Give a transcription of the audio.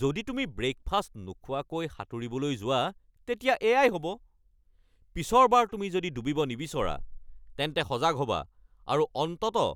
যদি তুমি ব্ৰেকফাষ্ট নোখোৱাকৈ সাঁতুৰিবলৈ যোৱা, তেতিয়া এয়াই হ'ব। পিছৰবাৰ তুমি যদি ডুবিব নিবিচাৰা, তেন্তে সজাগ হ'বা আৰু অন্ততঃ